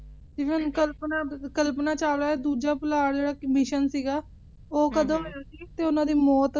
ਜਿਵੇਂ ਹੁਣ ਕਲਪਨਾ ਚਾਵਲਾ ਦਾ ਦੂਜਾ ਪੁਲਾੜ Mission ਸੀਗਾ ਓਹ ਕਦੋਂ ਹੋਇਆ ਸੀ ਤੇ ਓਹਨਾ ਦੀ ਮੌਤ